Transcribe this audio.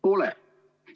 Pole.